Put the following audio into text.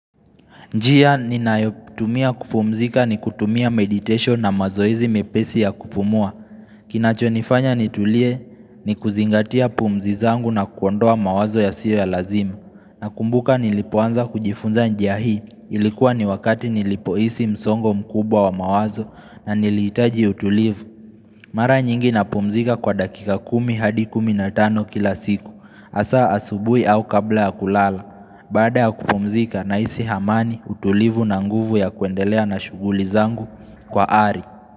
Njia ninayotumia kupumzika ni kutumia meditation na mazoezi mepesi ya kupumua Kinachonifanya nitulie ni kuzingatia pumzi zangu na kuondoa mawazo yasiyo ya lazima Nakumbuka nilipoanza kujifunza njia hii Ilikuwa ni wakati nilipohisi msongo mkubwa wa mawazo na nilihitaji utulivu Mara nyingi napumzika kwa dakika kumi hadi kumi na tano kila siku hasaa asubuhi au kabla ya kulala Baada ya kupumzika na isi amani utulivu na nguvu ya kuendelea na shuguli zangu kwa ari.